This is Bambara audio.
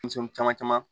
Denmisɛnnin caman caman